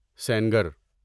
Sengar